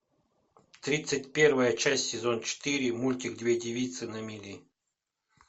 тридцать первая часть сезон четыре мультик две девицы на мели